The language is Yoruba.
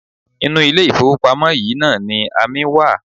Inú ilé-ìfowópamọ́ yìí náà ni amí wa.